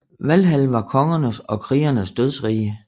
Valhall var kongernes og krigernes dødsrige